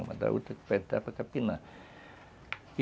Uma da outra que vai entrar para capinar.